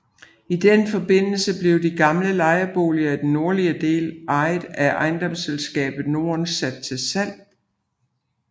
I den forbindelse blev de gamle lejeboliger i den nordlige del ejet af Ejendomsselskabet Norden sat til salg